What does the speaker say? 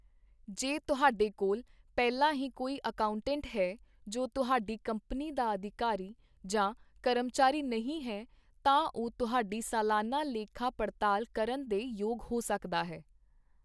ਜੇ ਤੁਹਾਡੇ ਕੋਲ ਪਹਿਲਾਂ ਹੀ ਕੋਈ ਅਕਾਊਂਟੈਂਟ ਹੈ, ਜੋ ਤੁਹਾਡੀ ਕੰਪਨੀ ਦਾ ਅਧਿਕਾਰੀ ਜਾਂ ਕਰਮਚਾਰੀ ਨਹੀਂ ਹੈ, ਤਾਂ ਉਹ ਤੁਹਾਡੀ ਸਲਾਨਾ ਲੇਖਾ ਪੜਤਾਲ ਕਰਨ ਦੇ ਯੋਗ ਹੋ ਸਕਦਾ ਹੈ।